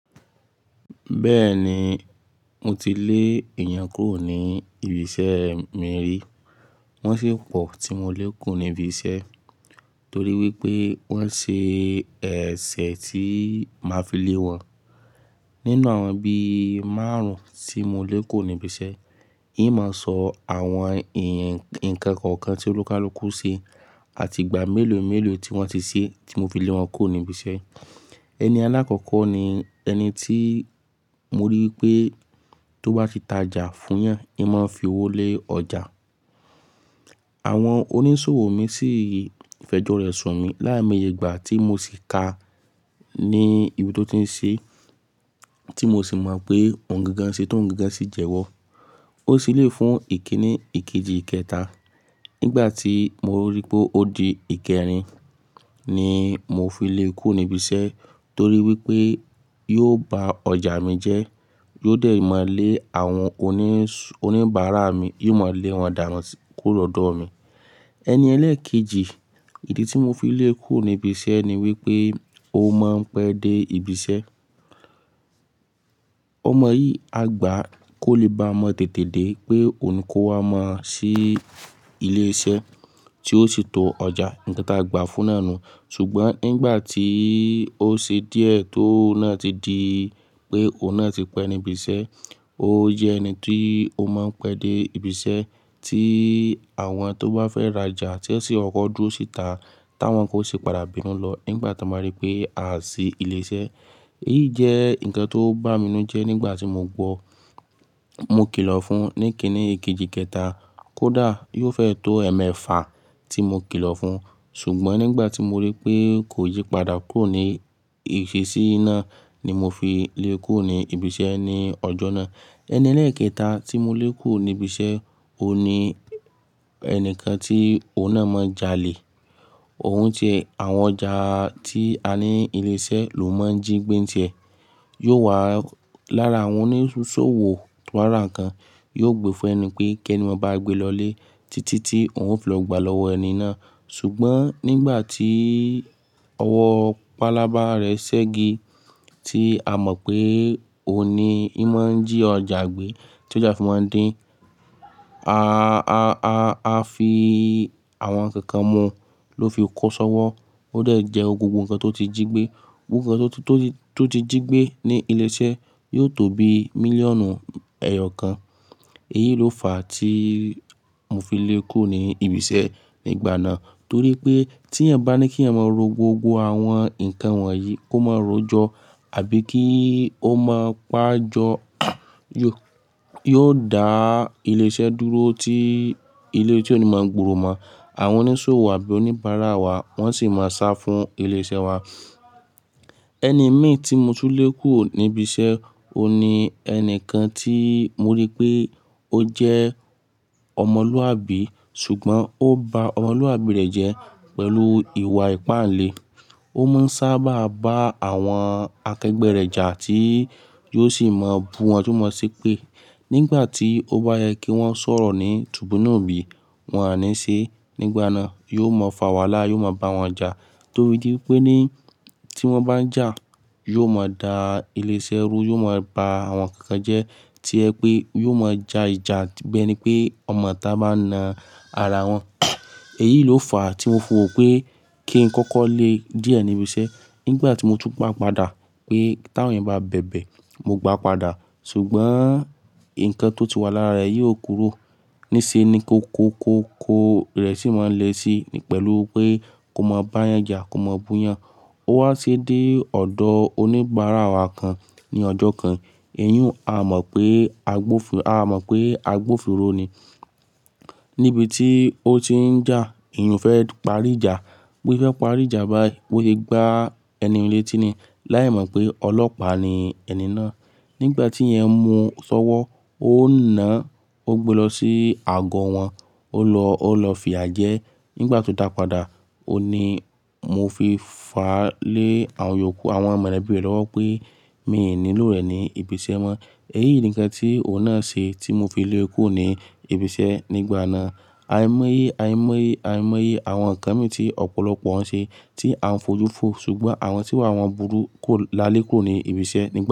Bẹ́ẹ̀ni, mo ti lé èèyàn kúrò ní ibi iṣẹ́ mi rí. Wọ́n sì pọ̀ tí mo lé kúrò níbi iṣẹ́ torí wípé wọ́n ṣe ẹ̀ṣẹ̀ tí máa fi lé wọn. Nínú àwọn bí márùn-ún tí mo lé kúrò níbi iṣẹ́, n máa sọ àwọn n nǹkan kọ̀ọ̀kan tí olúkalúkú ṣe àti ìgbà mélòó mélòó tí wọ́n ti ṣe tí mo fi lé wọn kúrò níbi iṣẹ́. Ẹni alákọ̀ọ̀kọ́ ni ẹni tí mo rí wipé tó bá fi tajà fún ìyàn, ì máa ń fi owó lé ọjà. Àwọn onísòwò mi sì fẹ̀jọ rẹ̀ sùn mí lái mo'ye ìgbà tí mo sì ka ní ibi tó ti ń ṣe, tí mo sì mọ̀ pé ohun gangáń ṣe tó ń gangán sì jẹwọ́. Ó se eléyi fún ìkíni ìkejì ikẹta. Nígbà tí mo rí pé ó di ìkẹrin ni mo fi lé e kúrò níbi iṣẹ́ torí wípé yóò ba ọjà mi jẹ́, yóò dẹ̀ máa lé àwọn oníbàárà mi, yóò máa lé àwọn da won kúrò lọ̀dọ̀ mi. Ẹni ẹlẹ́ẹ̀kejì, ìdí tí mo fi lé e kúrò níbi iṣẹ́ ni wípé ó máa ń pẹ́ dé ibi iṣẹ́. Ó mọ yìí, àgbà kò lè ba mọ tètè dé pé òun kó wá mọ̀ sí ilé iṣẹ́ tí ó sì to ọjà, nǹkan ta gbà fún náà nu. Ṣùgbọ́n nígbà tí ó ṣe díẹ̀ t'óun náà ti di pé òun náà ti pẹ́ níbi iṣẹ́, ó jẹ́ ẹni tí ó máa ń pẹ́ dé ibi iṣẹ́ tí àwọn tó bá fẹ́ rajà ti n sí kọkọ̀ dúró sì tà táwọn kan o ṣi padà bínú lọ nígbà tan ba rí pé a sì ilé iṣẹ́. Èyí jẹ́ nǹkan tó bà mí n nu jẹ́ nígbà tí mo gbọ́. Mo kìlọ̀ fún un ní ìkíni ìkejì ikẹta kó dà á, yóò fẹ́ tó ẹ̀ẹ̀mẹ́fà tí mo kìlọ̀ fún un. Ṣùgbọ́n nígbà tí mo rí pé kò yípadà kúrò ní ìṣesí náà ni mo fi lé e kúrò ní ibi iṣẹ́ ní ọjọ́ náà. Ẹni ẹlẹ́ẹ̀kẹta tí mo lé kúrò níbi iṣẹ́, òun ni ẹnìkan tí òun náà máa ń jalè. Òun tiẹ́ àwọn ọjà tí a ní ilé iṣẹ́ ló máa ń jí gbé ń tiẹ. Yóò wà lára àwọn onísòwò tó bá rà nǹkan, yóò gbe fún ẹni pé kí ẹni mọ bá a gbé lọlé títí tí òun ó fi lọ gbà lọ́wọ́ ẹni náà. Ṣùgbọ́n nígbà tí ọwọ́ pálábá rẹ̀ ṣẹ́gi tí a mọ̀ pé òun ni í máa ń jí ọjà gbé tí ọjà fi máa ń din a, a fi àwọn nǹkan kan mu ló fi kó ṣọ́wọ́. Ó dẹ̀ jẹwo gbogbo nǹkan tó ti jí gbé. Gbogbo nǹkan tó ti jí gbé ní ilé iṣẹ́ yóò tó bi mílíọ̀nù ẹ̀yọ kan. Èyí ló fà á tí mo fi lé e kúrò ní ibi iṣẹ́ nígbà náà. Torí pé tí ẹ̀eyan bá ni kí ẹ máa ro gbogbo àwọn nǹkan wọ̀nyí kó máa ró jọ àbí kí ó máa pa á jọ, yóò dá ilé iṣẹ́ dúró tí ilé-ise òní máa ń gbòòrò mọ̀. Àwọn onísòwò àbí oníbàárà wa wọ́n sì máa sá fún ilé iṣẹ́ wa. Ẹni mi tí mo ti lé kúrò níbi iṣẹ́, òun ni ẹni kan tí mo ríi pé ó jẹ́ ọmọlúàbí ṣùgbọ́n ó ba ọmọlúàbí rẹ̀ jẹ́ pẹ̀lú ìwà ìpáǹle. Ó máa ń sábà bá àwọn akẹgbẹ́ rẹ̀ jà tí yóò sì máa bú wọn tio mọ̀ sepé nígbà tí ó bá yẹ kí wọ́n sọ̀rọ̀ ní, tubí n nubí wọn á ní í ṣe. Nígbà náà yóò mọ fà wàhálà, yóò máa bá wọn jà to fí di wipé ni tí wọ́n bá n jà, yóò mọ dà ilé iṣẹ́ rú, yóò máa ba àwọn nnkankan jẹ́ to jẹ pé yóò máa ja ìjà bi ẹ́ni pé ọmọ-itá bá n na ara wọn. Èyí ló fà á tí mo wò pé kí n kọ́kọ́ lé e díẹ̀ níbi iṣẹ́. Nígbà tí mo tún gbà padà pé táwọn eeyan bá bẹ̀bẹ̀, mo gbà á padà. Ṣùgbọ́n nǹkan tó ti wà lára rẹ̀ yii ò kúrò. Níṣe ni kó ko ko ko rẹ̀ sì máa ń le si pẹ̀lú pé kó máa bá yẹn jà, kó máa bú yẹn. Ó wá sì dé ọ̀dọ̀ oníbàárà wa kan ní ọjọ́ kan. Èyun a mọ̀ pé agbófinró ni. Níbi tí ó ti ń jà, ìyùn fẹ́ parí ìjà, bóse fẹ́ parí ìjà bái bo se gbá ẹnihun léti niyen láì mọ̀ pé ọlọ́pàá ni ẹni náà. Nígbà tí ìyẹn mú un ṣọ́wọ́, ó na-- ó gbe lọ sí àgọ́ wọn, ó lọ fiyà jẹ́. Nígbà tí ó dà á padà, òun ni mo fi fà á lé àwọn mọlẹbí rẹ̀ lọ́wọ́ pé mí n nílò rẹ̀ ní ibi iṣẹ́ mọ́. Èyí ni nǹkan tí òun náà ṣe tí mo fi lé e kúrò ní ibi iṣẹ́ nígbà náà. Àìmọ́yé, àìmọ́yé, àìmọ́yé àwọn nǹkan mi ti ọ̀pọ̀lọpọ̀ n ṣe tí à ń fojú fọ́, ṣùgbọ́n àwọn tí wà wọn burú kò lálẹ́ kúrò ní ibi iṣẹ́ nígbà náà.